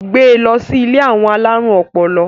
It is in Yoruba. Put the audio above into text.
gbé ló sì ilé àwọn alarun ọpọlọ!